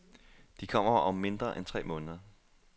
De kommer om mindre end tre måneder.